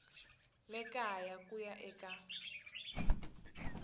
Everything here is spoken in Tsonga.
le kaya ku ya eka